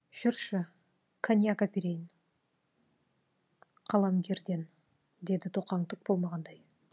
жүрші коньяк әперейін қаламгерден деді тоқаң түк болмағандай